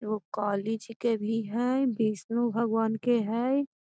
वो कॉलेज के भी हई विष्णु भगवान के हई।